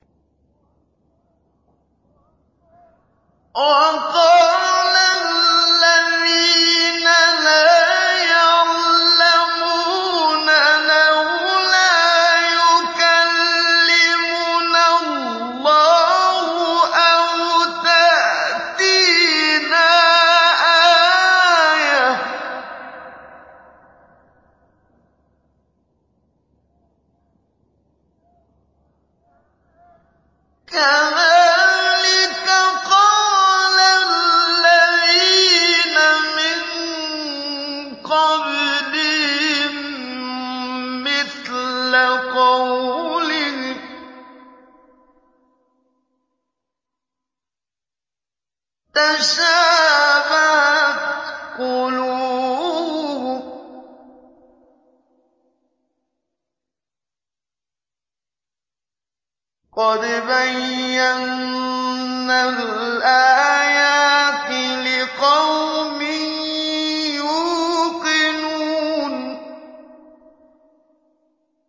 وَقَالَ الَّذِينَ لَا يَعْلَمُونَ لَوْلَا يُكَلِّمُنَا اللَّهُ أَوْ تَأْتِينَا آيَةٌ ۗ كَذَٰلِكَ قَالَ الَّذِينَ مِن قَبْلِهِم مِّثْلَ قَوْلِهِمْ ۘ تَشَابَهَتْ قُلُوبُهُمْ ۗ قَدْ بَيَّنَّا الْآيَاتِ لِقَوْمٍ يُوقِنُونَ